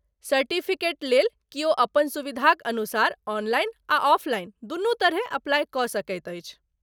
Certificate लेल कियो अपन सुविधाक अनुसार ऑनलाइन आ ऑफलाइन दुनू तरहेँ अप्लाई कऽ सकैत अछि।